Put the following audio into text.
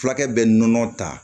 Fulakɛ bɛ nɔnɔ ta